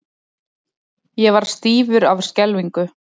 Ég varð stífur af skelfingu.